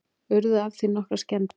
Urðu af því nokkrar skemmdir